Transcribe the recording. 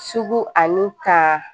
Sugu ani ka